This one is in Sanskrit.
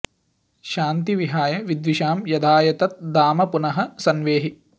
शान्ति विहाय विद्विषां यधाय तत् धाम पुनः सन्वेहि